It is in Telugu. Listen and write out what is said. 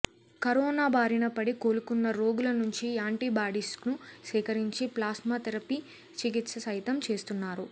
కరోనా బారిన పడి కోలుకున్న రోగుల నుంచి యాంటీబాడీస్ను సేకరించి ప్లాస్మా థెరఫీ చికిత్స సైతం చేస్తున్నారు